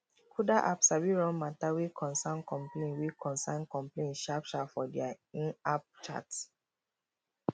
kuda app sabi run mata wey concern complain wey concern complain sharp sharp for dia inapp chat